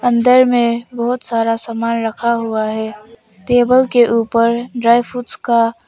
अंदर में बहुत सारा सामान रखा हुआ है टेबल के ऊपर ड्राई फ्रूट्स का--